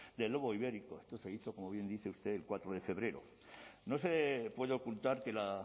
del lobo ibérico esto se hizo como bien dice usted el cuatro de febrero no se puede ocultar que la